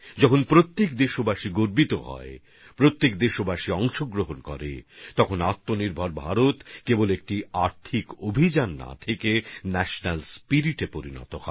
যখন প্রত্যেক দেশবাসী এভাবে গর্ব করবেন প্রত্যেক দেশবাসী অংশগ্রহণ করবেন তখন আত্মনির্ভর ভারত শুধুমাত্র একটা আর্থিক অভিযান না হয়ে একটা জাতীয় আবেগে পরিণত হবে